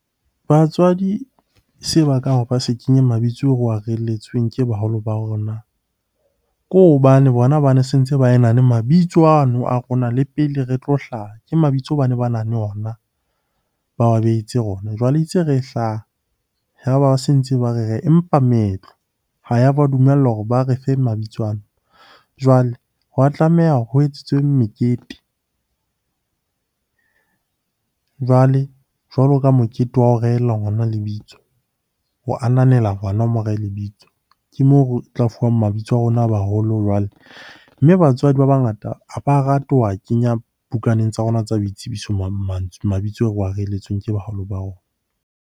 Batswadi seo ba ka ba se kenye mabitso o re wa reelletsweng ke baholo ba hore na ke hobane bona bane sentse ba ena le mabitso ano a rona le pele re tlo hlaha, ke mabitso bane bana le ona, ba behetse rona. Jwale itse re hlaha, yaba ba se ntse ba empa meetlo ha ya ba dumella hore ba re fe mabitso ana. Jwale hwa tlameha ho etsetswe mekete jwale, jwalo ka mokete wa ho rehella ngwana lebitso, ho ananela ngwana o mo rehe lebitso. Ke moo o tla fuwang mabitso a rona a baholo jwale, mme batswadi ba bangata ha ba rate ho wa kenya bukaneng tsa rona tsa boitsebiso mabitso ao re wa reelletsweng ke baholo ba rona.